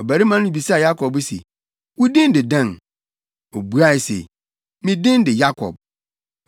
Ɔbarima no bisaa Yakob se, “Wo din de dɛn?” Obuae se, “Me din de Yakob.”